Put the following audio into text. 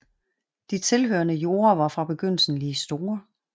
De tilhørende jorder var fra begyndelsen lige store